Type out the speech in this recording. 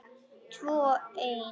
Tvö ein.